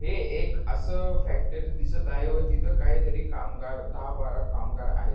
हे एक अस फॅक्टरी दिसत आहे व तिथ काही कामगार दहा बारा कामगार आहेत.